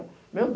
Meu Deus!